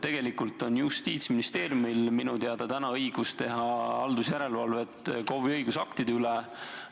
Tegelikult on minu teada Justiitsministeeriumil õigus teha haldusjärelevalvet KOV-i õigusaktide üle.